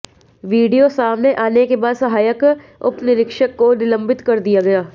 video सामने आने के बाद सहायक उपनिरीक्षक को निलंबित कर दिया गया